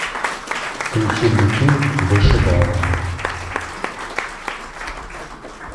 включи мне фильм вышибала